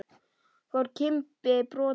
Fór Kimbi brott en